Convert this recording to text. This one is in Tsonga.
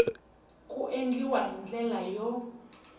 ku endliwa hi ndlela yo